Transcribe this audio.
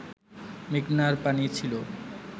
মেঘনার পানি ছিল